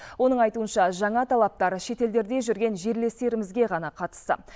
оның айтуынша жаңа талаптар шетелдерде жүрген жерлестерімізге ғана қатысты